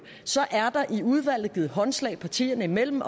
er der i udvalget givet håndslag partierne imellem